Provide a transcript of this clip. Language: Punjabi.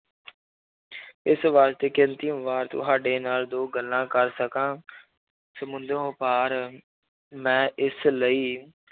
ਇਸ ਤੁਹਾਡੇ ਨਾਲ ਦੋ ਗੱਲਾਂ ਕਰ ਸਕਾਂ ਸਮੁੰਦਰੋਂ ਪਾਰ ਮੈਂ ਇਸ ਲਈ